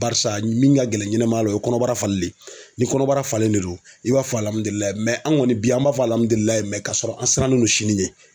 Barisa min ka gɛlɛn ɲɛnama la o ye kɔnɔbara falilen de ye ni kɔnɔbara falen de don i b'a fɔ an kɔni bi an b'a fɔ ka sɔrɔ an sirannen don sini ɲɛ.